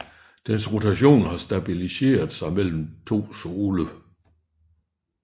Dens rotation har stabiliseret sig mellem to sole